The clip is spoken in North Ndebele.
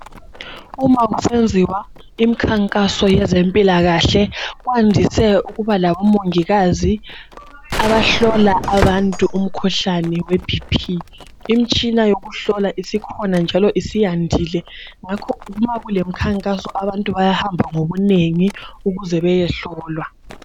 Uma kusenziwa imikhankaso yezempilakahle kwandise ukuba labomongikazi abahlola abantu umkhuhlane weBp imitshina yokuhlola isikhona njalo isiyandile ngakho ma kulemikhankaso abantu bayahamba ngobunengi ukuze beyehlolwa.